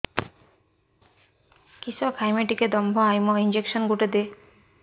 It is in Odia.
କିସ ଖାଇମି ଟିକେ ଦମ୍ଭ ଆଇବ ଇଞ୍ଜେକସନ ଗୁଟେ ଦେ